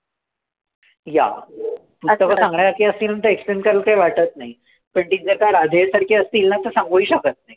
Yeah पुस्तकं सांगण्यासारखी असतील तर explain करायला काही वाटत नाही. पण तीच जर का राधेय सारखी असतील ना तर मग सांगूही शकत नाही.